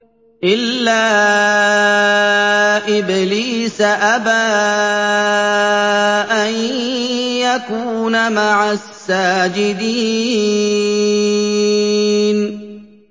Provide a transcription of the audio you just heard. إِلَّا إِبْلِيسَ أَبَىٰ أَن يَكُونَ مَعَ السَّاجِدِينَ